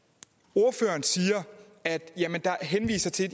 ordføreren henviser til at